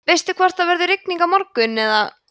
veistu hvort það verður rigning á morgun eða